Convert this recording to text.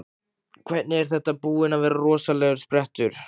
Hvernig, er þetta búinn að vera rosalegur sprettur?